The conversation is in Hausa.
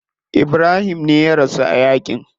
Ibrahim me ya rasu a yaki.